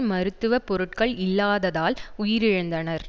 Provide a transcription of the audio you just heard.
மருத்துவ பொருட்கள் இல்லாததால் உயிரிழந்தனர்